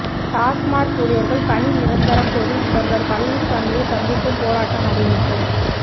டாஸ்மாக் ஊழியர்கள் பணி நிரந்தரம் கோரி முதல்வர் பழனிசாமியை சந்திக்கும் போராட்டம் அறிவிப்பு